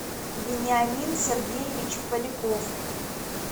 вениамин сергеевич поляков